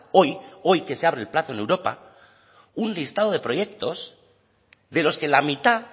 hoy hoy que se abre el plazo en europa un listado de proyectos de los que la mitad